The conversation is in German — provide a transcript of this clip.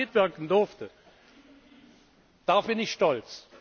Dass ich daran mitwirken durfte, darauf bin ich stolz.